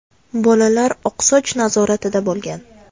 Bolalar oqsoch nazoratida bo‘lgan.